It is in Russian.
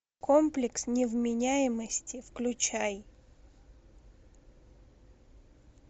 комплекс невменяемости включай